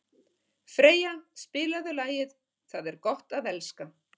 Freyja, spilaðu lagið „Það er gott að elska“.